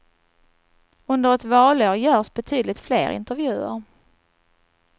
Under ett valår görs betydligt fler intervjuer.